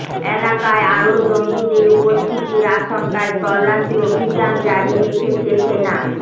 এলাকায় আরও জঙ্গিদের উপস্থিতির আশঙ্কায় তল্লাশি অভিযান জারি রেখেছে সেনা